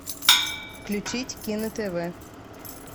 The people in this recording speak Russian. включить кино тв